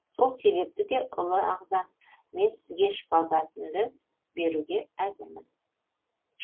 сол себепті де ұлы ағзам мен сізге шпагатымды беруге әзірмін